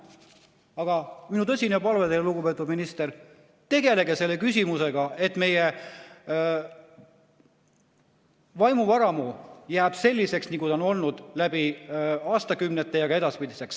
Aga minu tõsine palve teile, lugupeetud minister: tegelege selle küsimusega, et meie vaimuvaramu jääks selliseks, nagu ta on olnud läbi aastakümnete, ka edaspidiseks.